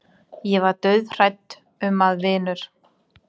Ég var dauðhrædd um að vinur